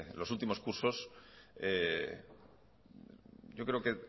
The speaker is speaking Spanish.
los últimos cursos yo creo que